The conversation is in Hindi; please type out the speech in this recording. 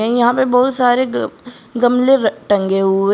यहां पे बहुत सारे ग गमले र टंगे हुए--